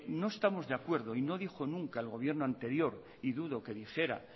no estamos de acuerdo y no dijo nunca el gobierno anterior y dudo que dijera